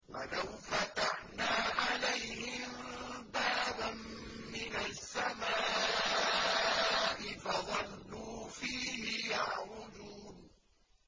وَلَوْ فَتَحْنَا عَلَيْهِم بَابًا مِّنَ السَّمَاءِ فَظَلُّوا فِيهِ يَعْرُجُونَ